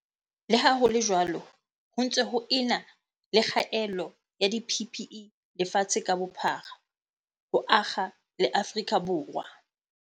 Le ha ho le jwalo, ho ntse ho e na le kgaello ya di-PPE lefatshe ka bophara, ho akga le Afrika Borwa.